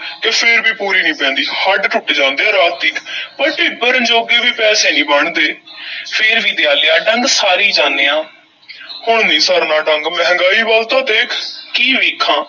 ਤੇ ਫੇਰ ਵੀ ਪੂਰੀ ਨਹੀਂ ਪੈਂਦੀ, ਹੱਡ ਟੁੱਟ ਜਾਂਦੇ ਐ ਰਾਤ ਤੀਕ ਪਰ ਢਿੱਡ ਭਰਨ ਜੋਗੇ ਵੀ ਪੈਸੇ ਨਹੀਂ ਬਣਦੇ ਫੇਰ ਵੀ ਦਿਆਲਿਆ, ਡੰਗ ਸਾਰੀ ਜਾਨੇ ਆਂ ਹੁਣ ਨਹੀਂ ਸਰਨਾ ਡੰਗ, ਮਹਿੰਗਾਈ ਵੱਲ ਤਾਂ ਦੇਖ, ਕੀ ਵੇਖਾਂ?